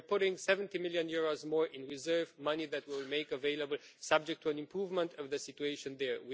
We are putting EUR 70 million more in reserve money that will be made available subject to an improvement of the situation there.